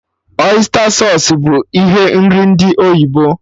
Ọysta sausụ bụ ihe nri ndị oyibo